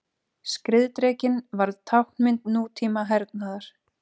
Skriðdrekinn varð táknmynd nútíma hernaðar.